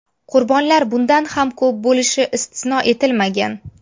Qurbonlar bundan ham ko‘p bo‘lishi istisno etilmagan.